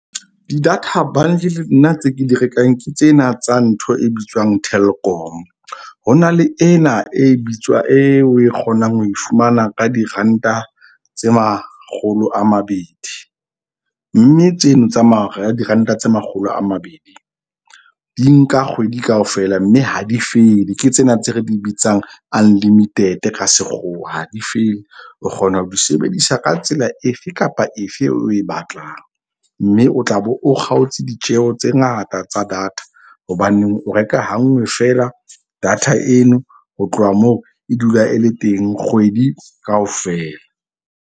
Di-data bundle nna tse ke di rekang ke tsena tsa ntho e bitswang Telkom. Ho na le ena e bitswang e o e kgonang ho e fumana ka diranta tse makgolo a mabedi. Mme tseno tsa ranta tse makgolo a mabedi di nka kgwedi kaofela. Mme ha di fele. Ke tsena tse re di bitsang unlimited ka sekgowa ha di fele. O kgona ho di sebedisa ka tsela efe kapa efe o e batlang. Mme o tla be o kgaotse ditjeho tse ngata tsa data. Hobaneng o reka hanngwe fela data eno ho tloha moo e dula e le teng kgwedi kaofela.